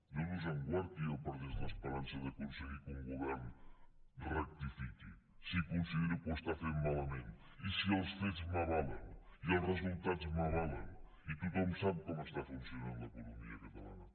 déu nos en guard que jo perdés l’esperança d’aconseguir que un govern rectifiqui si considero que ho està fent malament i si els fets m’avalen i els resultats m’avalen i tothom sap com està funcionant l’economia catalana